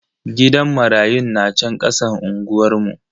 Gidan marayun na chan kasan unguwar mu.